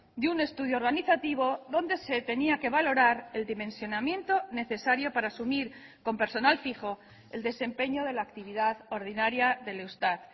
de un estudio organizativo donde se tenía que valorar el dimensionamiento necesario para asumir con personal fijo el desempeño de la actividad ordinaria del eustat